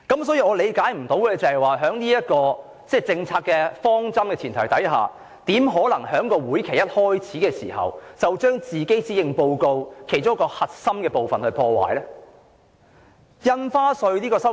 所以，令我無法理解的是，在這個政策方針的前提下，她怎可以在這個會期一開始時，便將其施政報告的其中一個核心部分破壞？